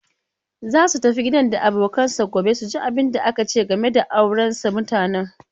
Za su tafi gidan da abokanansa gobe su ji abunda aka ce game da auransa mutanen.